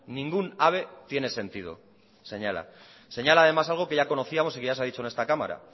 ningún ave tiene sentido señala señala además algo que ya conocíamos y que ya se ha dicho en esta cámara